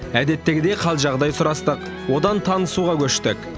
әдеттегідей қал жағдай сұрастық одан танысуға көштік